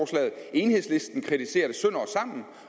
enhedslisten kritiserer det sønder